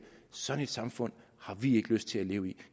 sådan et samfund har vi ikke lyst til at leve i